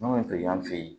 N'o ye fe yen